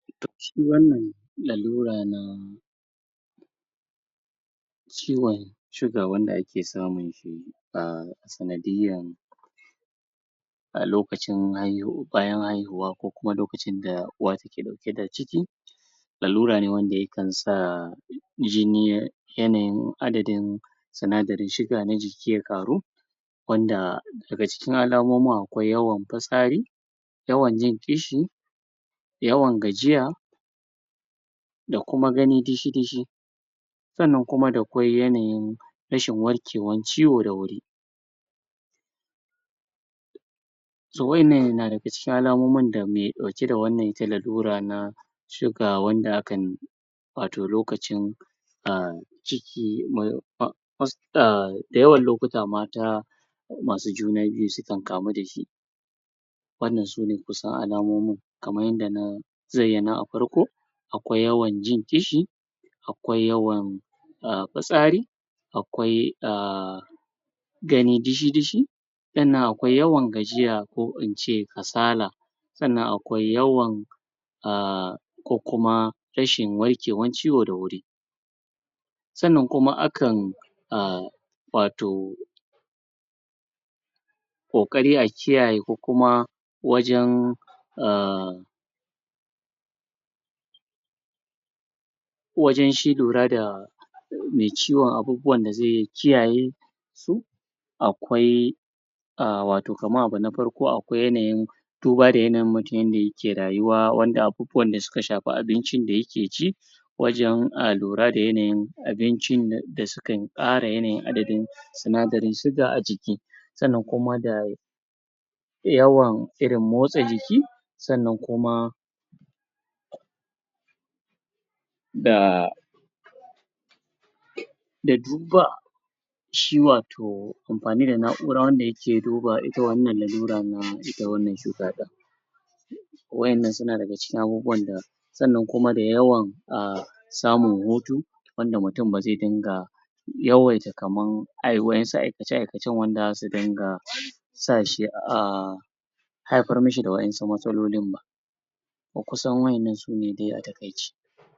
Shi wannan lalura na ciwon shuga wanda ake samun shi a sanadiyyan a lokacin bayan haihuwa ko kuma lokacin da uwa take riƙe da ciki lalura ne wanda yakan sa jini yanayin adadin sinadarin siga na jiki ya ƙaru wanda daga cikin alamomin akwai yawan fitsari yawan jin ƙishi yawan gajiya da kuma gani dishi-dishi sannan kuma da kwai yanayin rashin warkewa ciwo da wuri so waƴanan yana daga cikin alamomin da me ɗauke da wannan ita lalura na suga wanda akan wato lokacin ah ciki ah da yawan lokuta mata ko masu juna biyu su kan kamu da shi wannan sune kusan alamomin kaman yadda na zayyana a farko akwai yawan jin ƙishi akwai yawan ah fitsari akwai ah gani dishi-dishi sannan akwai yawan gajiya ko in ce kasala sannan akwai yawan ah ko kuma rashin warkewan ciwo da wuri sannan kuma akan ah, wato ƙoƙari a kiyaye ko kuma wajen ah wajen shi lura da me ciwon abubuwan da zai ya kiyaye to, akwai ah wato kamar abu na farko akwai yanayin duba da yanayin mutun yanda yake rayuwa wanda abubuwa da suka shafi abincin da yake ci wajen lura da yanayin abincin da sukan ƙara yanayin adadin sinadarin siga a jiki sannan kuma da yawan irin motsa jiki sannan kuma da da shi wato amfani da na'ura wanda yake duba ita wannan lalura na ita wannan cuta ɗin waƴannan suna daga cikin abubuwan da sannan kuma da yawan ah samun hutu wanda mutun ba zai dinga yawaita kaman waƴansu aikace-aikace wanda zasu dinga sa shi a haifar mishi da waƴansu matsalolin ba ko kusan waƴannan dai sune a taƙaice.